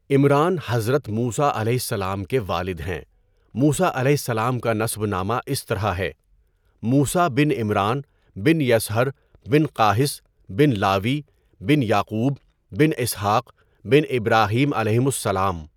عمران حضرت موسیٰ علیہ السلام کے والد ہیں۔ موسیٰ علیہ السلام کا نسب نامہ اس طرح ہے: موسیٰ بن عمران بن یَصھَر بن قاہِث بن لاوی بن یعقوب بن اسحٰق بن ابراہیم عَلَیہِمُ السلام